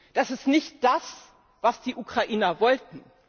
Das ist nicht das, was die Ukrainer wollten.